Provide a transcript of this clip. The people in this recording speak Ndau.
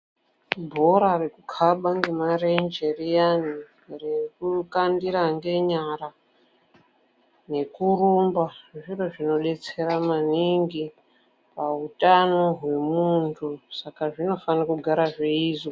Bhora rekukhaba ngemarenje riyani, rekukandira ngenyara, nekurumba, zviro zvinodetsera maningi pautano hwemuntu. Saka zvinofane kugara zveiizwa.